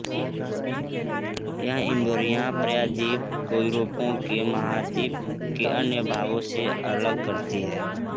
यह इबेरिया प्रायद्वीप को यूरोप के महाद्वीप के अन्य भागों से अलग करती है